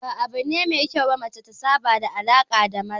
Ba abu ne mai kyau ba mace ta saba da mu'amala da maza